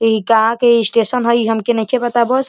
इ कहा के स्टेशन ह। इ हमके नइखे पता बस।